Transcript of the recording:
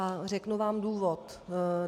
A řeknu vám důvod.